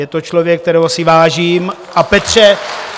Je to člověk, kterého si vážím, a Petře...